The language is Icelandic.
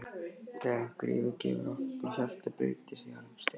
þegar einhver yfirgefur okkur og hjartað breytist í harðan stein.